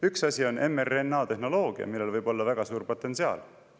" Üks asi on mRNA-tehnoloogia, millel võib olla väga suur potentsiaal.